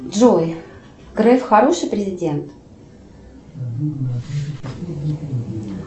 джой греф хороший президент